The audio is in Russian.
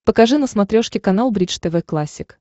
покажи на смотрешке канал бридж тв классик